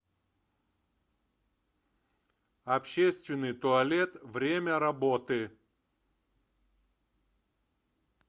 общественный туалет время работы